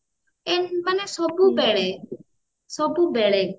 ମାନେ ସବୁ ବେଳେ ସବୁ ବେଳେ